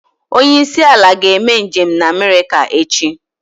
Onye isi ala ga-eme njem na America echi